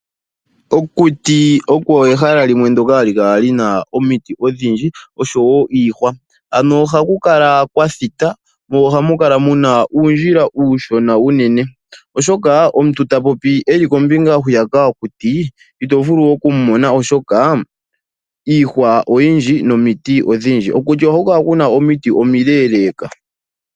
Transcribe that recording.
Okuti oko ehala limwe ndoka hali kala lina omiti odhindji niihwa, ohaku kala kwathita mo ohamu kala uundjila uushona unene oshoka omuntu ta popi eli kombinga hwiyaka yokuti ito vulu oku mu mona oshoka iihwa oyindji nomiti odhindji, kokuti ohaku kala kuna omiti omile leka.